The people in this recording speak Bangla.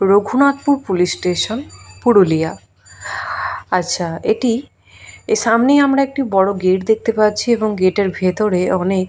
রঘুনাথপুর পুলিশ স্টেশন পুরুলিয়া আচ্ছা এটি সামনেই একটি বড় গেট দেখতে পাচ্ছি এবং গেট -এর ভেতরে অনেক--